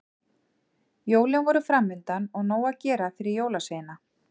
Jólin voru framundan og nóg að gera fyrir jólasveina.